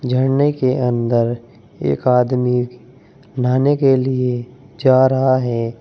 झरने के अंदर एक आदमी नहाने के लिए जा रहा है।